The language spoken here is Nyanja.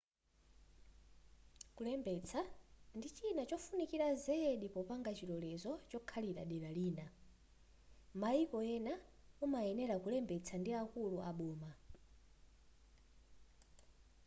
kulembetsa ndi china chofunikira zedi popanga chilolezo chokhalira dera lina m'maiko ena umayenera kulembetsa ndi akulu aboma